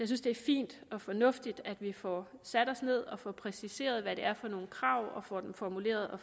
synes det er fint og fornuftigt at vi får sat os ned og præciseret hvad det er for nogle krav og får dem formuleret og